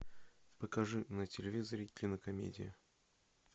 покажи на телевизоре кинокомедию